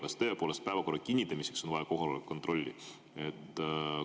Kas tõepoolest päevakorra kinnitamiseks on vaja kohaloleku kontrolli?